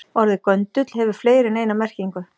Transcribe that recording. Orðið göndull hefur fleiri en eina merkingu.